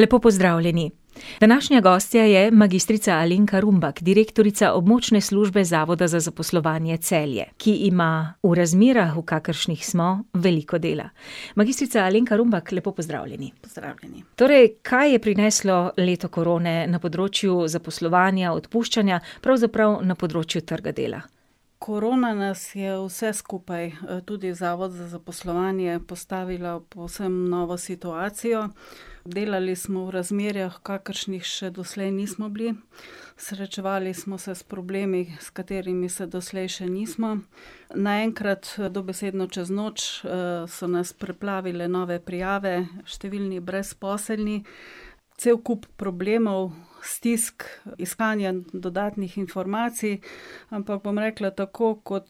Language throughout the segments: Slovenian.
Lepo pozdravljeni, današnja gostja je magistrica Alenka Rumbak, direktorica Območne službe Zavoda za zaposlovanje Celje, ki ima v razmerah, v kakršnih smo, veliko dela. Magistrica Alenka Rumbak, lepo pozdravljeni. Pozdravljeni. Torej, kaj je prineslo leto korone na področju zaposlovanja, odpuščanja, pravzaprav na področju trga dela? Korona nas je vse skupaj, tudi zavod za zaposlovanje, postavila v povsem novo situacijo. Delali smo v razmerah, kakršnih še doslej nismo bili, srečevali smo se s problemi, s katerimi se doslej še nismo. Naenkrat, dobesedno čez noč, so nas preplavile nove prijave, številni brezposelni, cel kup problemov, stisk, iskanja dodatnih informacij. Ampak bom rekla tako kot,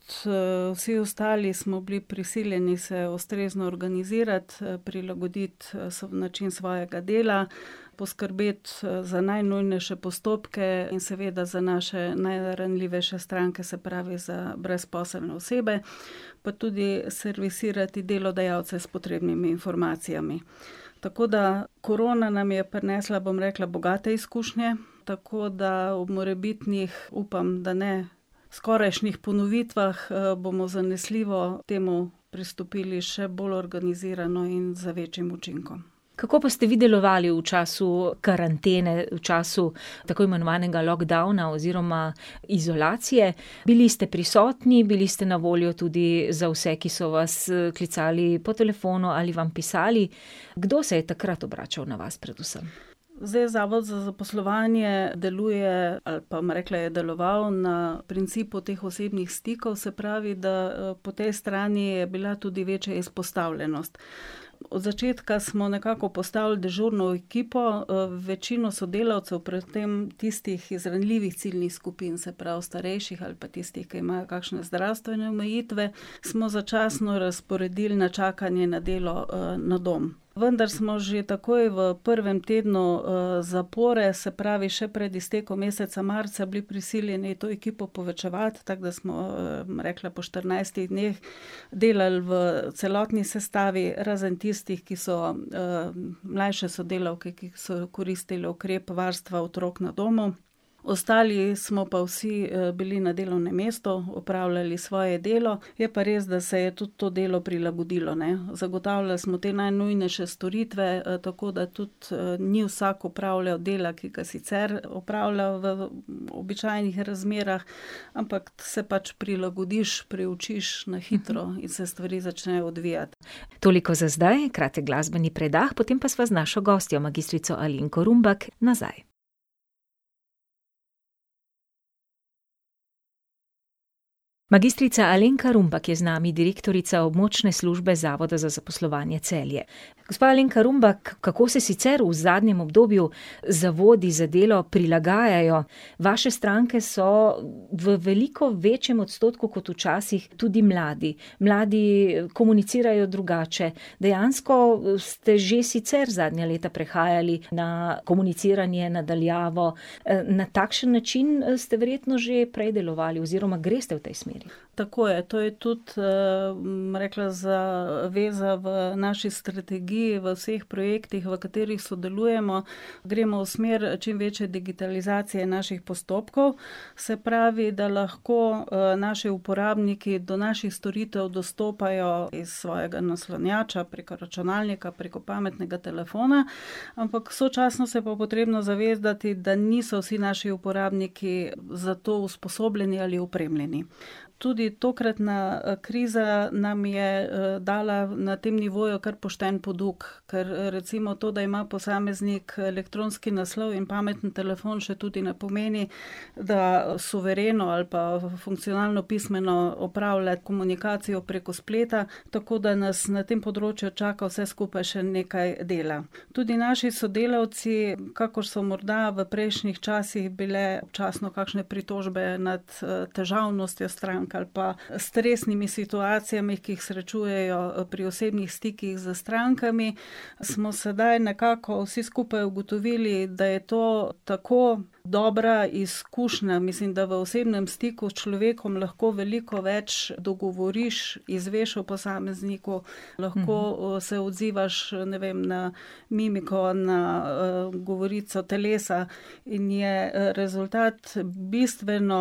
vsi ostali, smo bili prisiljeni se ustrezno organizirati, prilagoditi način svojega dela, poskrbeti, za najnujnejše postopke in seveda za naše najranljivejše stranke, se pravi za brezposelne osebe, pa tudi servisirati delodajalce s potrebnimi informacijami. Tako da korona nam je prinesla, bom rekla, bogate izkušnje, tako, da ob morebitnih, upam, da ne, skorajšnjih ponovitvah, bomo zanesljivo temu pristopili še bolj organizirano iz z večjim učinkom. Kako pa ste vi delovali v času karantene, v času tako imenovanega lockdowna oziroma izolacije? Bili ste prisotni, bili ste na voljo tudi za vse, ki so vas klicali po telefonu ali vam pisali, kdo se je takrat obračal na vas predvsem? Zdaj zavod za zaposlovanje deluje ali pa, bom rekla, je deloval na principu teh osebnih stikov, se pravi, da, po tej strani je bila tudi večja izpostavljenost. Od začetka smo nekako postavili dežurno ekipo, večino sodelavcev, pred tem tistih, iz ranljivih ciljnih skupin, se pravi starejših ali pa tistih, ki imajo kakšne zdravstvene omejitve, smo začasno razporedili na čakanje na delo, na dom. Vendar smo že takoj v prvem tednu, zapore, se pravi še pred iztekom meseca marca, bili prisiljeni to ekipo povečevati, tako da smo, bom rekla, po štirinajstih dneh delali v celotni sestavi, razen tistih, ki so, mlajše sodelavke, ki so koristile ukrep varstva otrok na domu. Ostali smo pa vsi bili na delovnem mestu, opravljali svoje delo, je pa res, da se je tudi to delo prilagodilo, ne. Zagotavljali smo te najnujnejše storitve, tako da tudi ni vsak opravljal dela, ki ga sicer opravlja v običajnih razmerah, ampak se pač prilagodiš, priučiš na hitro in se stvari začnejo odvijati. Toliko za zdaj, kratek glasbeni predah, potem pa sva z našo gostjo, magistrico Alenko Rumbak, nazaj. Magistrica Alenka Rumbak je z nami, direktorica Območne službe Zavoda za zaposlovanje Celje. Gospa Alenka Rumbak, kako se sicer v zadnjem obdobju zavodi za delo prilagajajo? Vaše stranke so v veliko večjem odstotku kot včasih tudi mladi. Mladi komunicirajo drugače, dejansko ste že sicer zadnja leta prehajali na komuniciranje na daljavo. Na takšen način ste verjetno že prej delovali oziroma greste v tej smeri? Tako je. To je tudi, bom rekla zaveza v naši strategiji v vseh projektih, v katerih sodelujemo, gremo v smer čim večje digitalizacije naših postopkov. Se pravi, da lahko, naši uporabniki do naših storitev dostopajo iz svojega naslonjača, preko računalnika, preko pametnega telefona, ampak sočasno se pa potrebno zavedati, da niso vsi naši uporabniki za to usposobljeni ali opremljeni. Tudi tokratna kriza nam je, dala na tem nivoju kar pošteno poduk. Ker recimo to, da ima posameznik elektronski naslov in pametni telefon, še tudi ne pomeni, da suvereno ali pa funkcionalno pismeno opravlja komunikacijo preko spleta, tako da nas na tem področju čaka vse skupaj še nekaj dela. Tudi naši sodelavci, kakor so morda v prejšnjih časih bile občasno kakšne pritožbe nad, težavnostjo strank ali pa stresnimi situacijami, ki jih srečujejo pri osebnih stikih s strankami, smo sedaj nekako vsi skupaj ugotovili, da je to tako dobra izkušnja, mislim, da v osebnem stiku s človekom lahko veliko več dogovoriš, izveš o posamezniku, lahko se odzivaš, ne vem, na mimiko, na, govorico telesa. In je, rezultat bistveno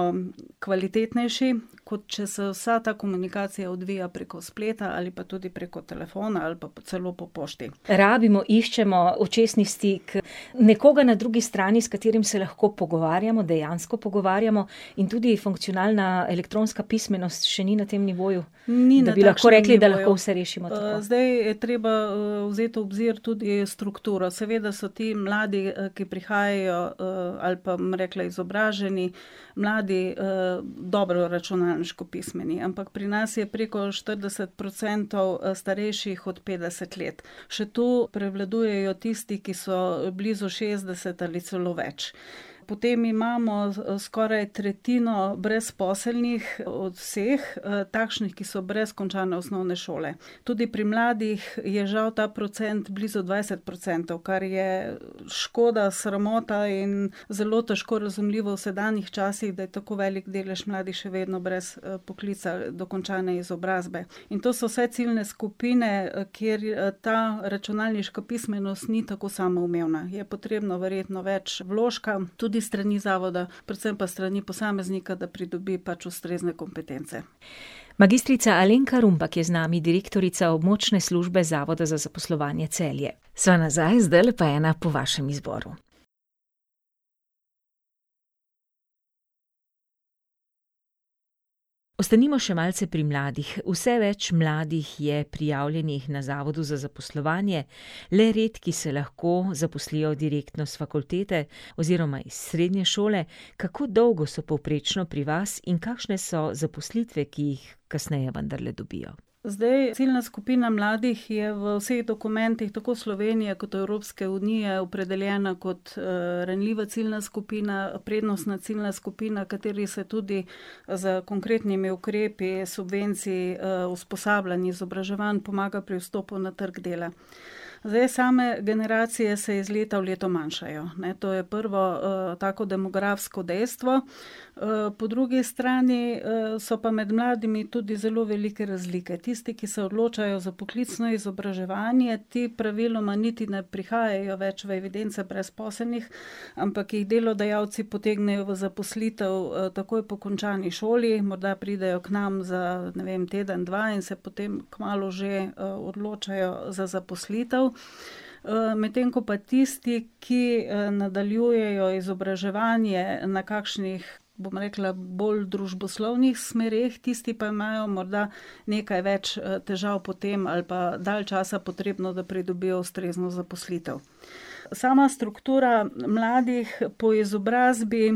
kvalitetnejši, kot če se vsa ta komunikacija odvija preko spleta ali pa tudi preko telefona ali pa celo po pošti. Rabimo, iščemo očesni stik, nekoga na drugi strani, s katerim se lahko pogovarjamo, dejansko pogovarjamo in tudi funkcionalna elektronska pismenost še ni na tem nivoju. Da bi lahko rekli, da lahko vse rešimo tako. Ni na takšnem nivoju. zdaj je treba vzeti v obzir tudi strukturo, seveda so ti mladi, ki prihajajo, ali pa bom rekla izobraženi, mladi, dobro računalniško pismeni, ampak pri nas je preko štirideset procentov starejših od petdeset let. Še tu prevladujejo tisti, ki so blizu šestdeset ali celo več. Potem imamo skoraj tretjino brezposelnih od vseh, takšnih, ki so brez končane osnovne šole. Tudi pri mladih je žal ta procent blizu dvajset procentov, kar je škoda, sramota in zelo težko razumljivo v sedanjih časih, da je tako velik delež mladih še vedno brez poklica, dokončane izobrazbe. In to so vse ciljne skupine, kjer ta računalniška pismenost ni tako samoumevna, je potrebno verjetno več vložka, tudi s strani zavoda, predvsem pa s strani posameznika, da pridobi pač ustrezne kompetence. Magistrica Alenka Rumbak je z nami, direktorica Območne službe Zavoda za zaposlovanje Celje. Sva nazaj, zdajle pa ena po vašem izboru. Ostanimo še malce pri mladih. Vse več mladih je prijavljenih na zavodu za zaposlovanje, le redki se lahko zaposlijo direktno s fakultete oziroma iz srednje šole. Kako dolgo so povprečno pri vas in kakšne so zaposlitve, ki jih kasneje vendarle dobijo? Zdaj ciljna skupina mladih je v vseh dokumentih, tako Slovenije kot Evropske unije, opredeljena kot, ranljiva ciljna skupina, prednostna ciljna skupina, kateri se tudi z konkretnimi ukrepi, subvencij, usposabljanj, izobraževanj, pomaga pri vstopu na trgu dela. Zdaj same generacije se iz leta v leto manjšajo, ne, to je prvo, tako demografsko dejstvo, po drugi strani, so pa med mladimi tudi zelo velike razlike. Tisti, ki se odločajo za poklicno izobraževanje, ti praviloma niti ne prihajajo več v evidence brezposelnih, ampak jih delodajalci potegnejo v zaposlitev, takoj po končani šoli, morda pridejo k nam za, ne vem, teden, dva in se potem kmalu že, odločajo za zaposlitev. Medtem ko pa tisti, ki nadaljujejo izobraževanje na kakšnih, bom rekla, bolj družboslovnih smereh, tisti pa imajo morda nekaj več težav potem ali pa dalj časa potrebno, da pridobijo ustrezno zaposlitev. Sama struktura mladih po izobrazbi,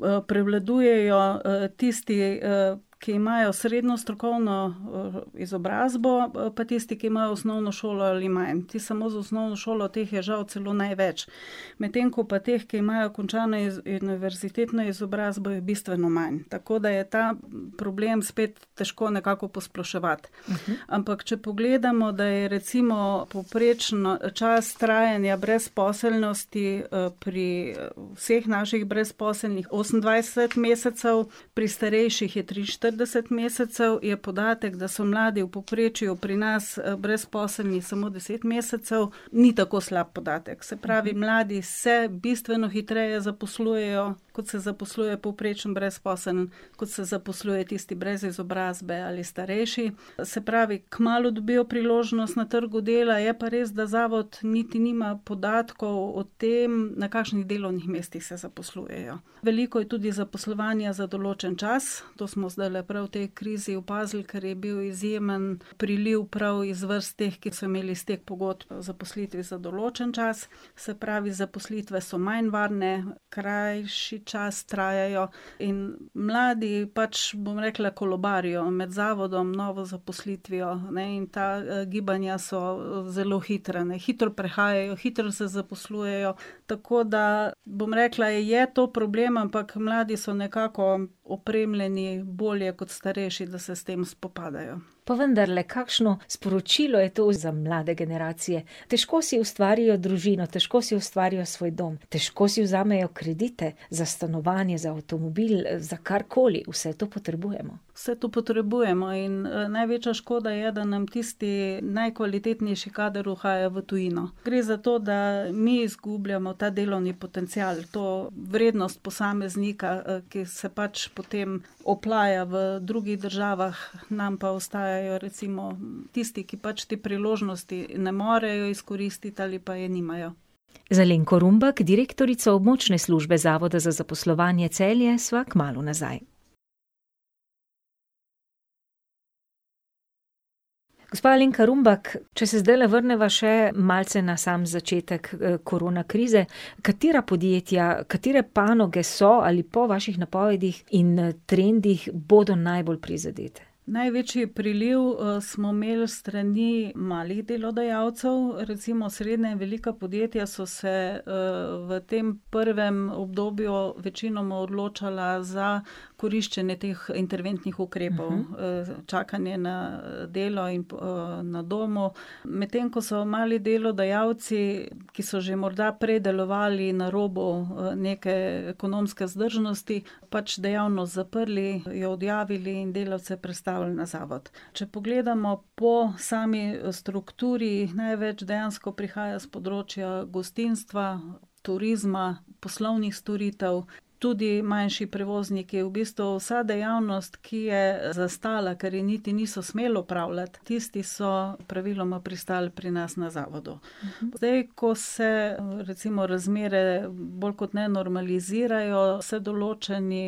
prevladujejo tisti, ki imajo srednjo strokovno, izobrazbo pa tisti, ki imajo osnovno šolo ali manj, ti samo z osnovno šolo, teh je žal celo največ. Medtem ko pa teh, ki imajo končano univerzitetno izobrazbo, je bistveno manj. Tako da je ta problem spet težko nekako posploševati. Ampak, če pogledamo, da je recimo povprečen čas trajanja brezposelnosti, pri vseh naših brezposelnih osemindvajset mesecev, pri starejših je triinštirideset mesecev, je podatek, da so mladi v povprečju pri nas brezposelni samo deset mesecev, ni tako slab podatek. Se pravi, mladi se bistveno hitreje zaposlujejo, kot se zaposluje povprečen brezposelni, kot se zaposluje tisti brez izobrazbe ali starejši. Se pravi, kmalu dobijo priložnost na trgu dela, je pa res, da zavod niti nima podatkov o tem, na kakšnih delovnih mestih se zaposlujejo. Veliko je tudi zaposlovanja za določen čas, to smo zdajle prav v tej krizi opazili, ker je bil izjemen priliv prav iz vrst teh, ki so imeli s teh pogodb o zaposlitvi za določen čas. Se pravi, zaposlitve so manj varne, krajši čas trajajo in mladi pač, bom rekla, kolobarijo med zavodom, novo zaposlitvijo, ne, in ta gibanja so zelo hitra, ne, hitro prehajajo, hitro se zaposlujejo. Tako, da bom rekla, je to problem, ampak mladi so nekako opremljeni bolje kot starejši, da se s tem spopadajo. Pa vendarle, kakšno sporočilo je to za mlade generacije? Težko si ustvarijo družino, težko si ustvarijo svoj dom, težko si vzamejo kredite za stanovanje, za avtomobil, za karkoli, vse to potrebujemo. Vse to potrebujemo in največja škoda je, da nam tisti najkvalitetnejši kader uhaja v tujino. Gre za to, da mi izgubljamo ta delovni potencial, to vrednost posameznika, ki se pač potem oplaja v drugih državah, nam pa ostajajo recimo tisti, ki pač te priložnosti ne morejo izkoristiti ali pa je nimajo. Z Alenko Rumbak, direktorico Območne službe Zavoda za zaposlovanje Celje, sva kmalu nazaj. Gospa Alenka Rumbak, če se zdajle vrneva še malce na sam začetek korona krize, katera podjetja, katere panoge so ali po vaših napovedih in trendih bodo najbolj prizadete? Največji priliv, smo imeli s strani malih delodajalcev, recimo srednje in velika podjetja so se, v tem prvem obdobju večinoma odločala za koriščenje teh interventnih ukrepov, čakanje na delo in na domu. Medtem ko so mali delodajalci, ki so že morda prej delovali na robu neke ekonomske vzdržnosti, pač dejavnost zaprli, jo odjavili in delo se prestavili na zavod. Če pogledamo po sami strukturi, največ dejansko prihaja s področja gostinstva, turizma, poslovnih storitev, tudi manjši prevozniki, v bistvu vsa dejavnost, ki je zastala, ker je niti niso smeli opravljati, tisti so praviloma pristali pri nas na zavodu. Zdaj, ko se recimo razmere bolj kot ne normalizirajo, se določeni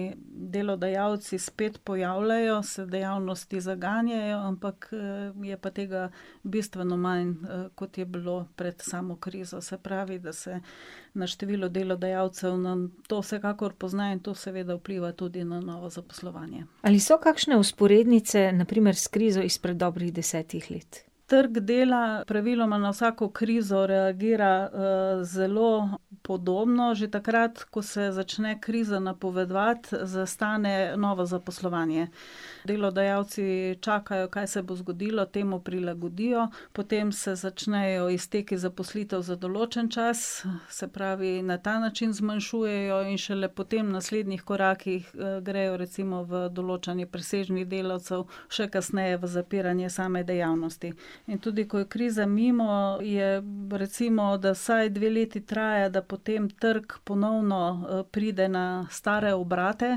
delodajalci spet pojavljajo, se dejavnosti zaganjajo, ampak, je pa tega bistveno manj, kot je bilo pred samo krizo, se pravi, da se na število delodajalcev na, to vsekakor pozna in to seveda vpliva tudi na novo zaposlovanje. Ali so kakšne vzporednice, na primer s krizo izpred dobrih desetih let? Trg dela praviloma na vsako krizo reagira, zelo podobno, že takrat, ko se začne kriza napovedovati, zastane novo zaposlovanje. Delodajalci čakajo, kaj se bo zgodilo, temu prilagodijo, potem se začnejo izteki zaposlitev za določen čas, se pravi na ta način zmanjšujejo in šele potem v naslednjih korakih, grejo recimo v določanje presežnih delavcev, še kasneje v zapiranje same dejavnosti. In tudi, ko je kriza mimo je recimo, da vsaj dve leti traja, da potem trg ponovno pride na stare obrate,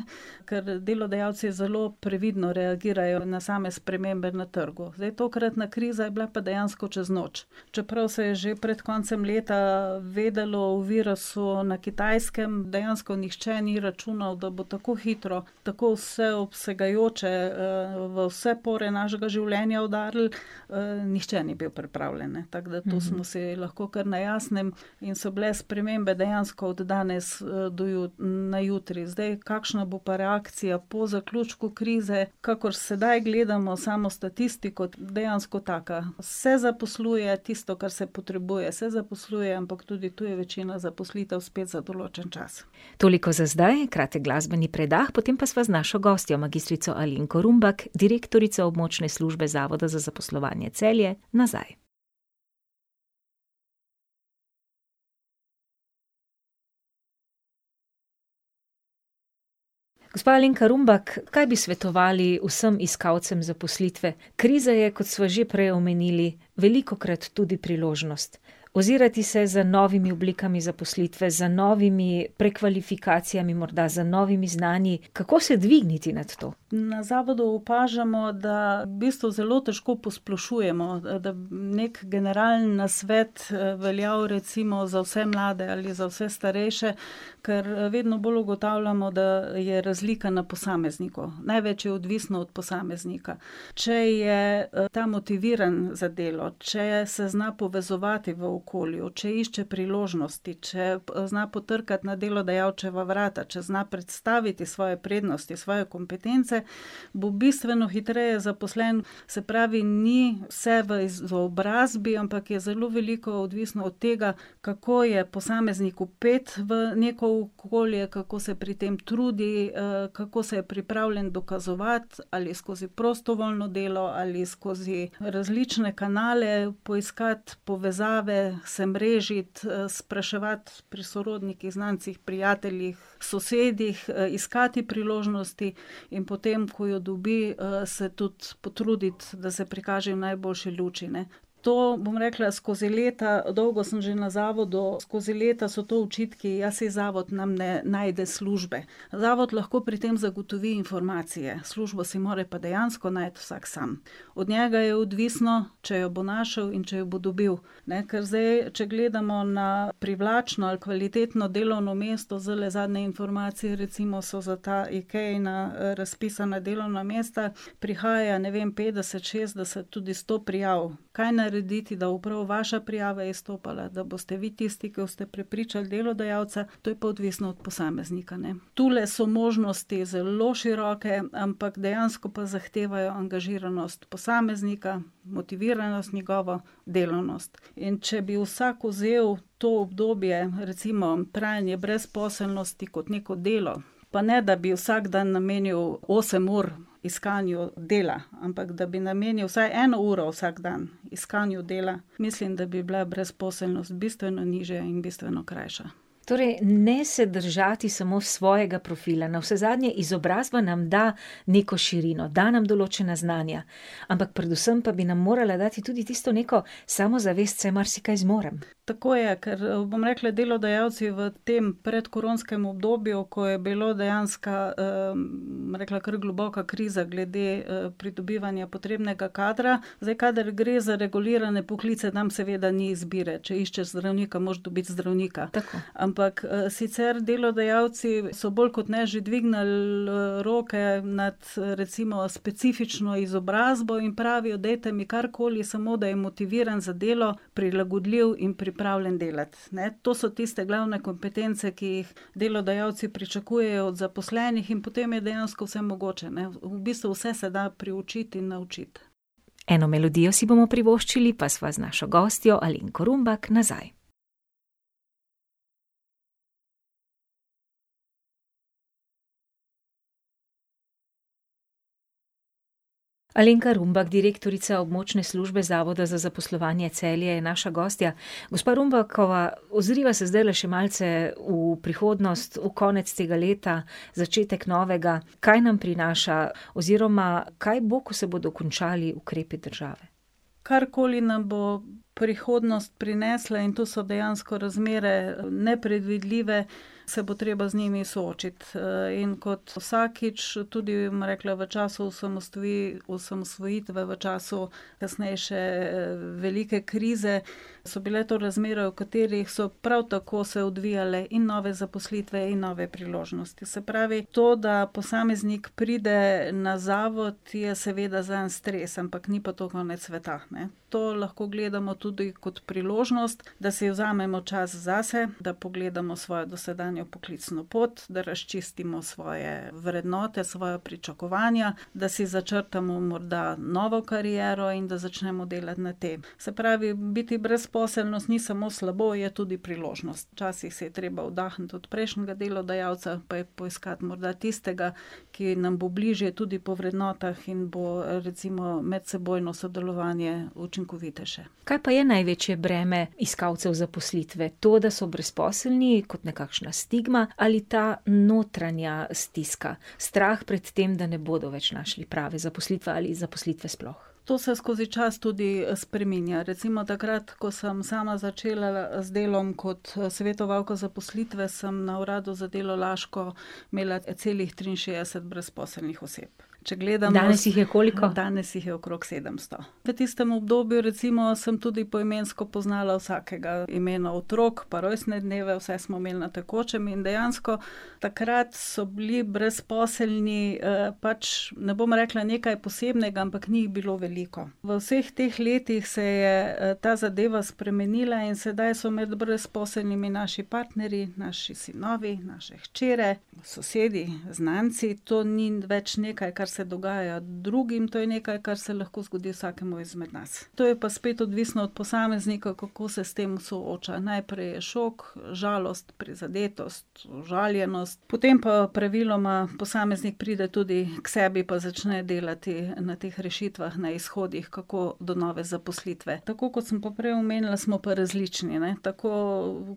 ker delodajalci zelo previdno reagirajo na same spremembe na trgu. Zdaj tokratna kriza je bila pa dejansko čez noč. Čeprav se je že pred koncem leta vedelo o virusu na Kitajskem, dejansko nihče ni računal, da bo tako hitro, tako vseobsegajoče, v vse pore našega življenja udarilo, nihče ni bil pripravljeno, ne, tako da to smo si lahko kar na jasnem. In so bile spremembe dejansko od danes, do na jutri, zdaj kakšna bo pa reakcija po zaključku krize. Kakor sedaj gledamo samo statistiko, dejansko taka: se zaposluje, tisto, kar se potrebuje se zaposluje, ampak tudi to je večina zaposlitev spet za določen čas. Toliko za zdaj, kratek glasbeni predah, potem pa sva z našo gostjo, magistrico Alenko Rumbak, direktorico Območne službe Zavoda za zaposlovanje Celje, nazaj. Gospa Alenka Rumbak, kaj bi svetovali vsem iskalcem zaposlitve? Kriza je, kot sva že prej omenili, velikokrat tudi priložnost. Ozirati se za novimi oblikami zaposlitve, za novimi prekvalifikacijami, morda za novimi znanji. Kako se dvigniti nad to? Na zavodu opažamo, da v bistvu zelo težko posplošujemo, da neki generalni nasvet veljal recimo za vse mlade ali za vse starejše, ker vedno bolj ugotavljamo, da je razlika na posamezniku, največ je odvisno od posameznika. Če je ta motiviran za delo, če se zna povezovati v okolju, če išče priložnosti, če zna potrkati na delodajalčeva vrata, če zna predstaviti svoje prednosti, svoje kompetence, bo bistveno hitreje zaposlen. Se pravi, ni vse v izobrazbi, ampak je zelo veliko odvisno od tega, kako je posameznik vpet v neko okolje, kako se pri tem trudi, kako se je pripravljen dokazovati, ali skozi prostovoljno delo ali skozi različne kanale poiskati povezave, se mrežiti, spraševati pri sorodnikih, znancih, prijateljih, sosedih, iskati priložnosti in potem, ko jo dobi, se tudi potruditi, da se prikaže v najboljši luči, ne. To, bom rekla, skozi leta, dolgo sem že na zavodu, skozi leta so to očitki: "Ja, saj zavod nam ne najde službe." Zavod lahko pri tem zagotovi informacije, službo si pa mora pa dejansko najti vsak sam. Od njega je odvisno, če jo bo našel in če jo bo dobil, ne. Ker zdaj, če gledamo na privlačno ali kvalitetno delovno mesto, zdajle zadnje informacije recimo so za ta Ikeina razpisana delovna mesta, prihaja, ne vem, petdeset, šestdeset, tudi sto prijav. Kaj narediti, da bo prav vaša prijava izstopala, da boste vi tisti, ke boste prepričali delodajalca, to je pa odvisno od posameznika, ne. Tule so možnosti zelo široke, ampak dejansko pa zahtevajo angažiranost posameznika, motiviranost njegovo, delavnost. In če bi vsak vzel to obdobje recimo trajanje brezposelnosti kot neko delo, pa ne, da bi vsak dan namenil osem ur iskanju dela, ampak, da bi namenil vsaj eno uro vsak dan iskanju dela. Mislim, da bi bila brezposelnost bistveno nižja in bistveno krajša. Torej, ne se držati samo svojega profila, navsezadnje izobrazba nam da neko širino, da nam določena znanja, ampak predvsem pa bi nam morala dati tudi tisto neko samozavest: "Saj marsikaj zmorem." Tako je, ker bom rekla, delodajalci v tem predkoronskem obdobju, ko je bilo dejanska, bom rekla, kar globoka kriza, glede, pridobivanja potrebnega kadra. Zdaj kadar gre za regulirane poklice, tam seveda ni izbire, če iščeš zdravnika, moraš dobiti zdravnika. Tako. Ampak, sicer delodajalci so bolj kot ne že dvignili, roke nad recimo specifično izobrazbo in pravijo: "Dajte mi karkoli, samo, da je motiviran za delo, prilagodljiv in pripravljen delati, ne." To so tiste glavne kompetence, ki jih delodajalci pričakujejo od zaposlenih in potem je dejansko vse mogoče, ne, v bistvu vse se da priučiti in naučiti. Eno melodijo si bomo privoščili, pa sva z našo gostjo, Alenko Rumbak, nazaj. Alenka Rumbak, direktorica Območne službe Zavoda za zaposlovanje Celje, je naša gostja. Gospa Rumbakova, ozriva se zdajle še malce v prihodnost, v konec tega leta, začetek novega. Kaj nam prinaša, oziroma kaj bo, ko se bodo končali ukrepi države? Karkoli nam bo prihodnost prinesla, in to so dejansko razmere nepredvidljive, se bo treba z njimi soočiti. in kot vsakič, tudi, bom rekla, v času osamosvojitve v času kasnejše velike krize, so bile to razmere, o katerih so prav tako se odvijale in nove zaposlitve in nove priložnosti. Se pravi, to, da posameznik pride na zavod, je seveda zanj stres, ampak ni pa to konec sveta, ne. To lahko gledamo tudi kot priložnost, da si vzamemo čas zase, da pogledamo svojo dosedanjo poklicno pot, da razčistimo svoje vrednote, svoja pričakovanja, da si začrtamo morda novo kariero in da začnemo delati na tem. Se pravi, biti brezposeln ni samo slabo, je tudi priložnost. Včasih si je treba oddahniti od prejšnjega delodajalca pa poiskati morda tistega, ki nam bo bližje tudi po vrednotah in bo recimo medsebojno sodelovanje učinkovitejše. Kaj pa je največje breme iskalcev zaposlitve? To, da so brezposelni kot nekakšna stigma, ali ta notranja stiska - strah pred tem, da ne bodo več našli prave zaposlitve ali zaposlitve sploh? To se skozi čas tudi spreminja. Recimo takrat, ko sem sama začela z delom kot svetovalka zaposlitve, sem na Uradu za delo Laško imela celih triinšestdeset brezposelnih oseb. Če gledam ... Danes jih je koliko? Danes jih je okrog sedemsto. V tistem obdobju recimo sem tudi poimensko poznala vsakega, imena otrok pa rojstne dneve, vse smo imeli na tekočem in dejansko takrat so bili brezposelni, pač, ne bom rekla nekaj posebnega, ampak ni jih bilo veliko. V vseh teh letih se je, ta zadeva spremenila in sedaj so med brezposelnimi naši partnerji, naši sinovi, naše hčere, sosedi, znanci. To ni več nekaj, kar se dogaja drugim, to je nekaj, kar se lahko zgodi vsakemu izmed nas. To je pa spet odvisno od posameznikov, kako se s tem soočajo. Najprej je šok, žalost, prizadetost, užaljenost, potem pa praviloma posameznik pride tudi k sebi pa začne delati na teh rešitvah, na izhodih, kako do nove zaposlitve. Tako, kot sem pa prej omenila, smo pa različni, ne. Tako